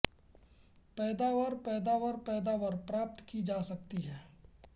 पैदावार पैदावार पैदावार प्राप्त की जा सकती है